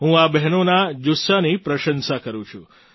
હું આ બહેનોના જુસ્સાની પ્રશંસા કરું છું